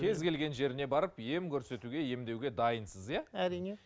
кез келген жеріне барып ем көрсетуге емдеуге дайынсыз иә әрине